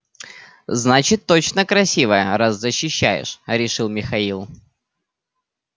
значит точно красивая раз защищаешь решил михаил